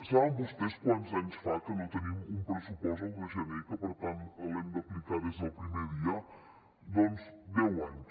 saben vostès quants anys fa que no tenim un pressupost a un de gener i que per tant l’haguem d’aplicar des del primer dia doncs deu anys